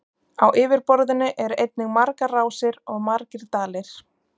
Á yfirborðinu eru einnig margar rásir og margir dalir.